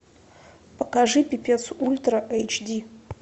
покажи пипец ультра эйч ди